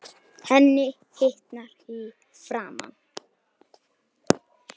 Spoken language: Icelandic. Henni hitnar í framan.